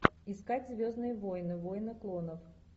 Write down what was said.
искать звездные войны войны клонов